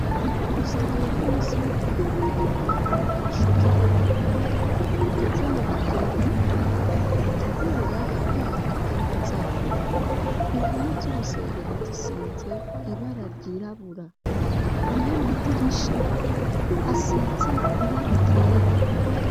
ku rusengero rw'umusi windwi hateguwe inyigisho z'ugwaruka rugeze mu bigero rutegura kubaka ingo zabo impome z'urusengero zisize ibara ryirabura na y'amadirisha asize ibara ryera.